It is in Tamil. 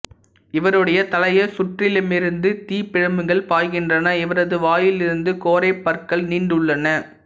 இவருடைய தலையைச் சுற்றிலுமிருந்து தீப்பிழம்புகள் பாய்கின்றன இவரது வாயில் இருந்து கோரைப் பற்கள் நீண்டுள்ளன